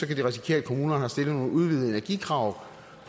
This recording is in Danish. kan risikere at kommunerne har stillet nogle udvidede energikrav